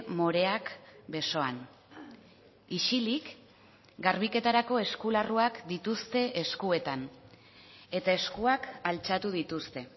moreak besoan isilik garbiketarako eskularruak dituzte eskuetan eta eskuak altxatu dituzte